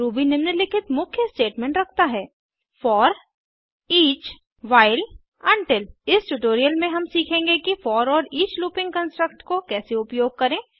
Ruby निम्नलिखित मुख्य statement रखता है फोर ईच 000049 000048 व्हाइल उंटिल इस ट्यूटोरियल में हम सीखेंगे कि फोर और ईच लूपिंग कन्स्ट्रक्ट को कैसे उपयोग करें